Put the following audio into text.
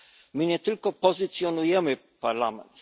My nie tylko pozycjonujemy Parlament.